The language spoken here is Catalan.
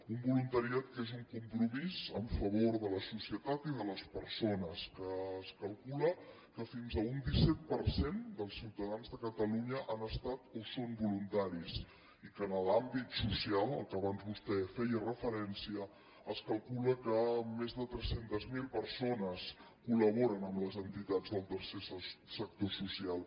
un voluntariat que és un compromís en favor de la societat i de les persones que es calcula que fins a un disset per cent dels ciutadans de catalunya han estat o són voluntaris i que en l’àmbit social a què abans vostè feia referència es calcula que més de tres cents miler persones col·laboren amb les entitats del tercer sector social